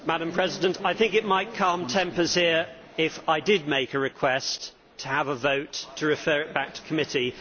Madam President, I think it might calm tempers here if I did make a request to have a vote to refer it back to committee.